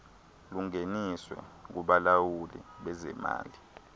lungeniswe kubalawuli bezemali